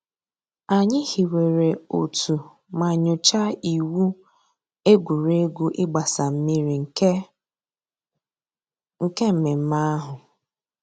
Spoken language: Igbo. Ànyị̀ hìwèrè òtù mà nyòchàá ìwù ègwè́ré́gwụ̀ ị̀gbàsa mmìrì nke nke mmẹ̀mmẹ̀ àhụ̀.